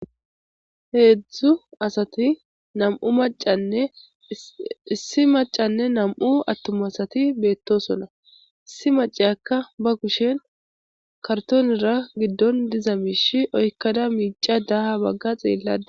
heedzdzu asati nam7u macanne issi macanne nam7u attuma asati beetto sona issi mace akka ba kushen kartonira giddon diza miish oykkada miica daaha bagga xeellada